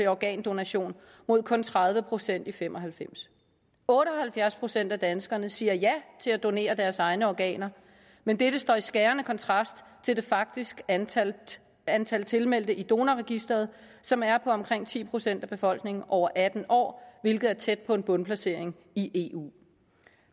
organdonation mod kun tredive procent i nitten fem og halvfems otte og halvfjerds procent af danskerne siger ja til at donere deres egne organer men dette står i skærende kontrast til det faktiske antal antal tilmeldte i donorregistret som er på omkring ti procent af befolkningen over atten år hvilket er tæt på en bundplacering i eu